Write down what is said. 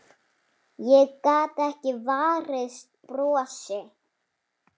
Ég gat ekki varist brosi.